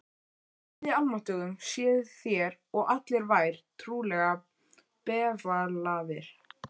Guði almáttugum séuð þér og allir vær trúlega befalaðir.